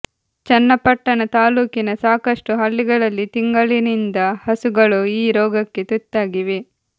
ಚನ್ನಪಟ್ಟಣ ತಾಲ್ಲೂಕಿನ ಸಾಕಷ್ಟು ಹಳ್ಳಿಗಳಲ್ಲಿ ತಿಂಗಳಿನಿಂದ ಹಸುಗಳು ಈ ರೋಗಕ್ಕೆ ತುತ್ತಾಗಿವೆ